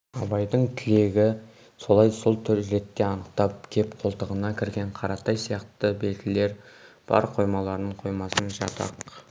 абайдың тілегі солай сол ретте анықтап кеп қолтығына кірген қаратай сияқты белділер бар қоймаларын қоймасын жатақ